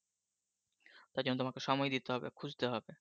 তার জন্য তোমাকে সময় নিতে হবে খুঁজতে হবে।